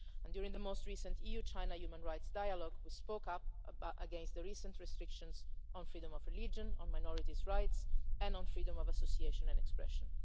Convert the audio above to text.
report. During the last EU China human rights dialogue we spoke up against the recent restrictions on freedom of religion, on minorities' rights and on freedom of association and expression.